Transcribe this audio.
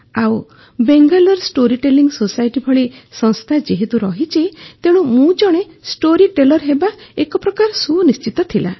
ଆଉ Bangalore storytelling society ଭଳି ସଂସ୍ଥା ଯେହେତୁ ରହିଛି ତେଣୁ ମୁଁ ଜଣେ ଷ୍ଟୋରି ଟେଲର ହେବା ଏକ ପ୍ରକାର ସୁନିଶ୍ଚିତ ଥିଲା